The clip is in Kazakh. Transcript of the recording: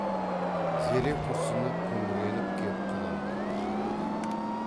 зере күрсініп күңіреніп кеп құнанбайды жерледі